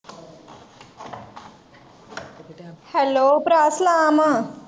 Hello ਪਰਾ ਸਲਾਮ ਆ।